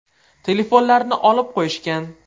Telefonlarni olib qo‘yishgan.